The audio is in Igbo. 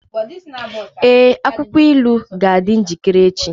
Ee, akwụkwọ ilu ga-adị njikere echi.